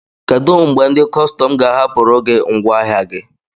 Kedụ mgbe ndị kọstọm ga-ahapụrụ gị ngwaahịa gi?